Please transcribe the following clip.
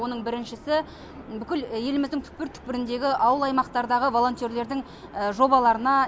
оның біріншісі бүкіл еліміздің түкпір түкпіріндегі ауыл аймақтардағы волонтерлердің жобаларына